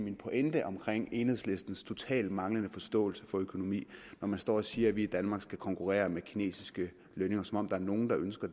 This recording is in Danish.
min pointe om enhedslistens totalt manglende forståelse for økonomi når man står og siger at vi i danmark skal konkurrere med kinesiske lønninger som om der er nogen der ønsker